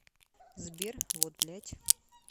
сбер вот блядь